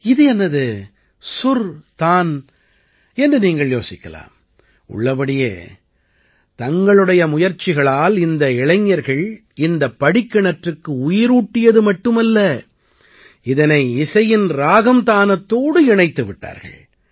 இது என்னது சுர் தான் என்று நீங்கள் யோசிக்கலாம் உள்ளபடியே தங்களுடைய முயற்சிகளால் இந்த இளைஞர்கள் இந்தப் படிக்கிணற்றுக்கு உயிரூட்டியது மட்டுமல்ல இதனை இசையின் ராகம் தானத்தோடும் இணைத்து விட்டார்கள்